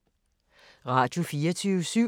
Radio24syv